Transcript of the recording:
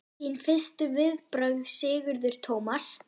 Þín fyrstu viðbrögð Sigurður Tómas?